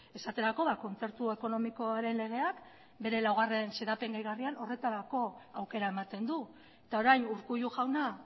esaterako kontzertu ekonomikoaren legeak bere laugarrena xedapen gehigarrian horretarako aukera ematen du eta orain urkullu jauna